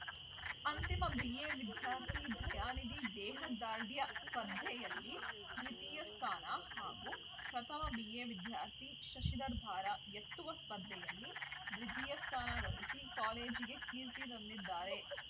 ಅಂತಿಮ ಬಿಎ ವಿದ್ಯಾರ್ಥಿ ದಯಾನಿಧಿ ದೇಹದಾಢ್ರ್ಯ ಸ್ಪರ್ಧೆಯಲ್ಲಿ ದ್ವಿತೀಯ ಸ್ಥಾನ ಹಾಗೂ ಪ್ರಥಮ ಬಿಎ ವಿದ್ಯಾರ್ಥಿ ಶಶಿಧರ್‌ ಭಾರ ಎತ್ತುವ ಸ್ಪರ್ಧೆಯಲ್ಲಿ ದ್ವಿತೀಯ ಸ್ಥಾನ ಗಳಿಸಿ ಕಾಲೇಜಿಗೆ ಕೀರ್ತಿ ತಂದಿದ್ದಾರೆ